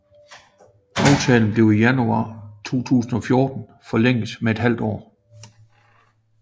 Aftalen blev i januar 2014 forlænget med et halvt år